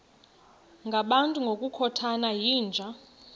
ngabantu ngokukhothana yinja